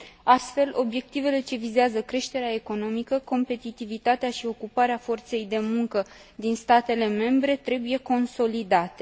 Astfel, obiectivele ce vizează creșterea economică, competitivitatea și ocuparea forței de muncă din statele membre trebuie consolidate.